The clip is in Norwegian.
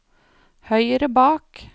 høyre bak